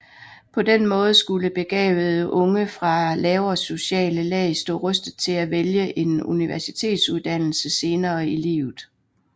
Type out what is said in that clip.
På den måde skulle begavede unge fra lavere sociale lag stå rustet til at vælge en universitetsuddannelse senere i livet